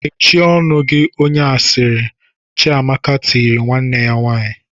"Mechie ọnụ onye asịrị!" Chiamaka tiri nwanne ya nwaanyị.